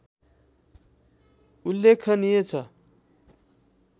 उल्लेखनीय छ